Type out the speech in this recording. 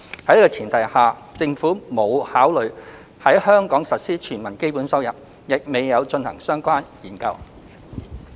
在此前提下，政府沒有考慮在香港實施"全民基本收入"，亦未有進行相關研究。